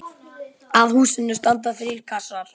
Að húsinu standa þrír klasar.